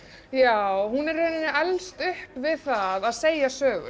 já hún í rauninni elst upp við að segja sögur